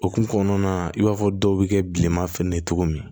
Okumu kɔnɔna na i b'a fɔ dɔw bɛ kɛ bilenman fɛnɛ ye cogo min